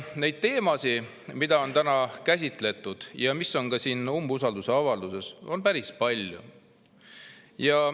Neid teemasid, mida on täna käsitletud ja mis on siin umbusaldusavalduses, on päris palju.